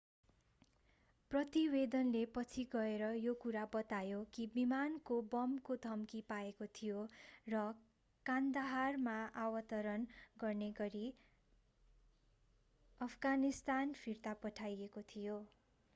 प्रतिवेदनले पछि गएर यो कुरा बतायो कि विमानले बमको धम्की पाएको थियो र कान्दाहारमा अवतरण गर्ने गरि अफगानिस्तान फिर्ता पठाइएको थियो